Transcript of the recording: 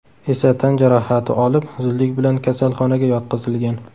esa tan jarohati olib, zudlik bilan kasalxonaga yotqizilgan.